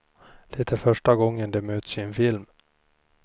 De är första gången de möts i en film.